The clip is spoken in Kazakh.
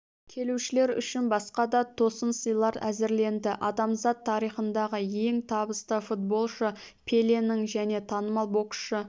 келушілер үшін басқа да тосын сыйлар әзірленді адамзат тарихындағы ең табысты футболшы пеленің және танымал боксшы